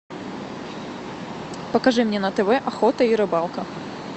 покажи мне на тв охота и рыбалка